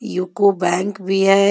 UCO bank भी हैं.